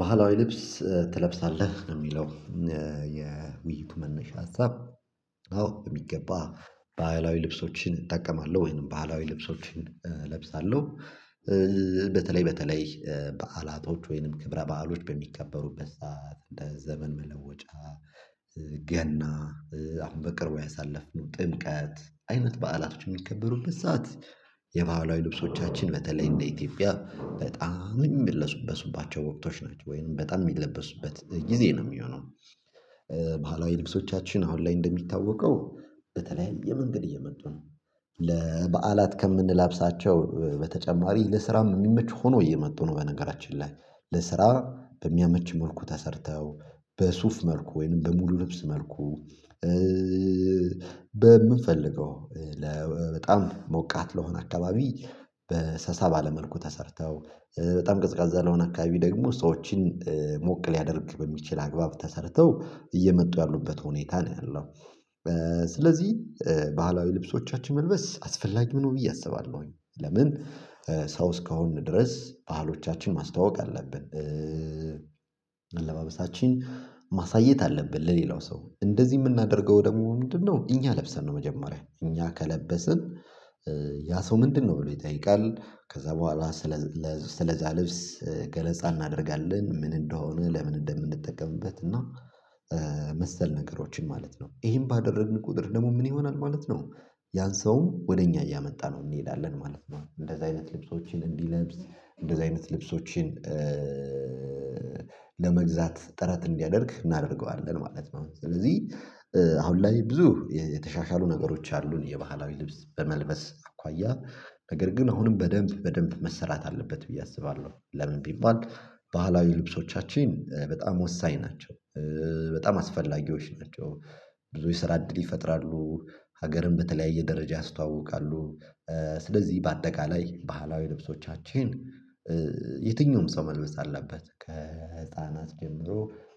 ባህላዊ ልብስ ትለብሳለህ ነው የሚለው የውይይቱ መነሻ ሀሳብ። አዎ በሚገባ ባህላዊ ልብሶችን እጠቀማለሁ ወይም ባህላዊ ልብሶችን እለብሳለሁ። በተለይ በተለይ በዓላቶች ወይንም ክብረ በዓሎች በሚከበሩበት ሰዓት እንደ ዘመን መለወጫ። ገና አሁን በቅርቡ ያሳለፍነው ጥምቀት አይነት በዓላቶች የሚከበሩበት ሰዓት የባህላዊ ልብሶቻችን በተለይ እንደ ኢትዮጵያ በጣም የሚለበሱባቸው ወቅቶች ናቸው ወይም በጣም የሚለበሱበት ጊዜ ነው የሚሆነው። ባህላዊ ልብሶቻችን አሁን ላይ እንደሚታወቀው በተለያየ መንገድ እየመጡ ነው። ለበዓላት ከምንለብሳቸው በተጨማሪ ለስራም የሚመች ሆኖ እየመጡ ነው በነገራችን ላይ ለስራ በሚያመች መልኩ ተሰርተው በሱፍ መልኩ ወይንም በሙሉ ልብስ መልኩ። በምንፈልገው ለበጣም ሞቃት ለሆነ አካባቢ በሰሳ ባለ መልኩ ተሰርተው በጣም ቀዝቃዛ ለሆነ አካባቢ ደግሞ ሰዎችን ሞቅ ሊያደርግ በሚችል አግባብ ተሰርተው እየመጡ ያሉበት ሁኔታ ነው ያለው። ስለዚህ ባህላዊ ልብሶቻችን መልበስ አስፈላጊ ነው ብዬ አስባለሁኝ። ለምን ሰው እስካሁን ድረስ ባህሎቻችን ማስተዋወቅ አለብን። አለባበሳችን ማሳየት አለብን ለሌላው ሰው እንደዚህ የምናደርገው ደግሞ ምንድነው እኛ ለብሰን ነው መጀመሪያ እኛ ከለበስን ያ ሰው ምንድነው ብሎ ይጠይቃል? ከዛ በኋላ ስለ ስለዛ ልብስ ገለጻ እናደርጋለን ምን እንደሆነ ለምን እንደምንጠቀምበት እና መሰል ነገሮችን ማለት ነው። ይሄን ባደረግን ቁጥር ደግሞ ምን ይሆናል ማለት ነው? ያን ሰውም ወደ እኛ እያመጣነው እንሄዳለን ማለት ነው። እንደዛ አይነት ልብሶችን እንዲለብስ እንደዛ አይነት ልብሶችን ለመግዛት ጥረት እንዲያደርግ እናደርገዋለን። ማለት ስለዚህ አሁን ላይ ብዙ የተሻሻሉ ነገሮች አሉን የባህላዊ ልብስ በመልበስ አኳያ ነገር ግን አሁንም በደንብ በደንብ መሰራት አለበት ብዬ አስባለሁ። ለምን ቢባል ባህላዊ ልብሶቻችን በጣም ወሳኝ ናቸው። በጣም አስፈላጊዎች ናቸው። ብዙ ስራ እድል ይፈጥራሉ። ሀገርን በተለያየ ደረጃ ያስተዋውቃሉ። ስለዚህ በአጠቃላይ ባህላዊ ልብሶቻችን የትኛውም ሰው መልበስ አለበት ከህፃናት ጀምሮ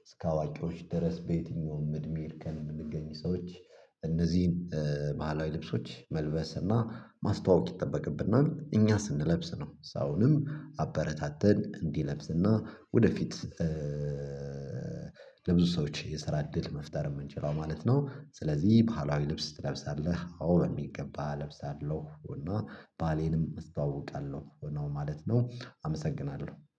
እስከ አዋቂዎች ድረስ በየትኛውም እድሜ እርከን የምንገኝ ሰዎች እነዚህን ባህላዊ ልብሶች መልበስ እና ማስተዋወቅ ይጠበቅብና እኛ ስንለብስ ነው። ሰውንም አበረታተን እንዲለብስና ወደፊት ለብዙ ሰዎች የስራ እድል መፍጠር የምንችለው ማለት ነው። ስለዚህ ባህላዊ ልብስ ትለብሳለህ አዎ በሚገባ እለብሳለሁ እና ባህሌንም እስተዋውቃለሁ ነው ማለት ነው። አመሰግናለሁ